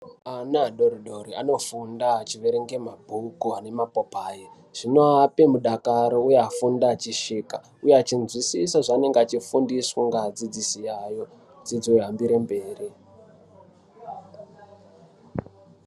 Ana adori-dori anofunda achiverenge mabhuku ane mapopai. Zvinovape mudakaro uye afunde achisvika, uye achinzwisisa zvaanenge achifundiswa ngeadzidzise yayo, dzidzo yohambire mberi.